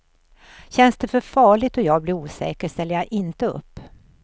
Känns det för farligt och jag blir osäker ställer jag inte upp.